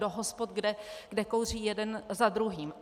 Do hospod, kde kouří jeden za druhým.